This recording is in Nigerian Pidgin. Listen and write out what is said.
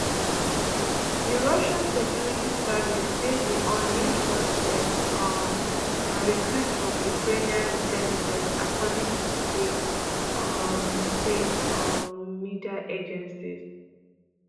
di russian security service say di unnamed suspect um na recruit from ukrainian intelligence according to state um state um media agencies